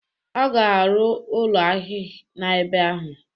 Ọ ga arụ ụlọ ahịa n'ebe ahụ.